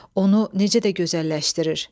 Onu necə də gözəlləşdirir.